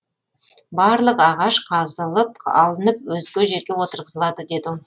барлық ағаш қазылып алынып өзге жерге отырғызылады деді ол